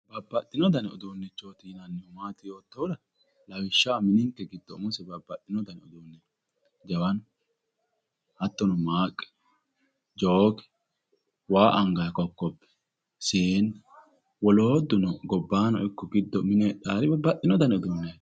Babbaxxino danni uduunichoti yinnannihu maati yoottohura lawishshaho mini giddo umosi babbaxino danni no Jawanu, Maqqe ,jokke waa anganni birciqo, siine wolootuno gobbano ikko giddono heedhano babbaxxino danni uduuneti.